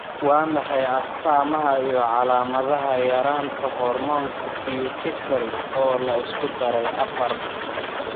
Waa maxay calaamadaha iyo calaamadaha yaraanta hormoonka Pituitary, oo la isku daray afar?